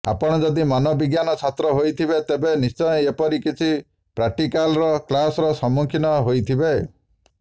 ଆପଣ ଯଦି ମନୋବିଜ୍ଞାନ ଛାତ୍ର ହୋଇଥିବେ ତେବେ ନିଶ୍ଚୟ ଏପରି କିଛି ପ୍ରାକ୍ଟିକାଲ୍ର କ୍ଲାସ୍ର ସମ୍ମୁଖୀନ ହୋଇଥିବେ